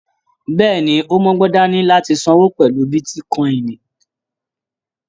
Bẹ́ẹ̀ni, o mọgbọ́n dání láti sanwó pẹlú bitíkọ̀in.